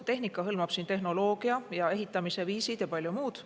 Tehnika hõlmab siin tehnoloogiat, ehitamise viise ja palju muud.